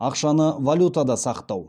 ақшаны валютада сақтау